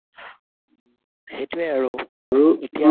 সেইটোয়ে আৰু